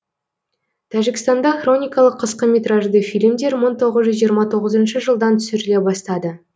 тәжікстанда хроникалы қысқа метражды фильмдер мың тоғыз жүз жиырма тоғызыншы жылдан түсіріле бастады